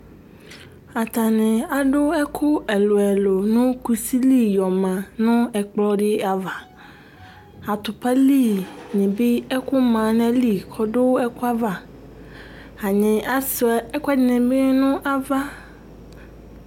atani adu ɛku ɛlu- ɛlu nu kusi li yɔ mã nu ɛkplɔ di ava atupa li ni bi ɛku mã naɣili kɔ du ɛkua va atani asɛ ekuɛdi ni bi lɛ nu ava